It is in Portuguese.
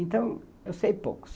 Então, eu sei pouco.